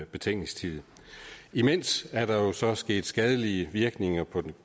betænkningstid imens er der jo så sket skadelige virkninger på